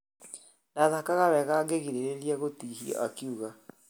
" ndathakaga wega ngĩgirereria gutihio" akiuga